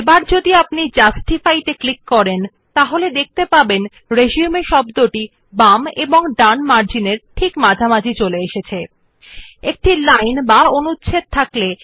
যদি আমরা উপর জাস্টিফাই ক্লিক করুন আপনি যে এখন শব্দ রিসিউম সাথে সংযুক্ত করা হয় যেমন যে টেক্সট অবিশেষে পৃষ্ঠার ডান ও বাম মার্জিন মধ্যে স্থাপন করা হবে